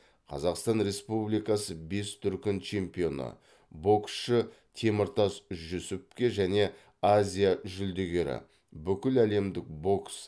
қазақстан республикасы бес дүркін чемпионы боксшы теміртас жүсіповке және азия жүлдегері бүкіләлемдік бокс